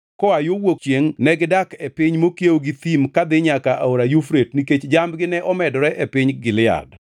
Koa yo wuok chiengʼ, negidak e piny mokiewo gi thim kadhi nyaka Aora Yufrate nikech jambgi ne omedore e piny Gilead.